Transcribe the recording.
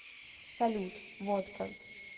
салют водка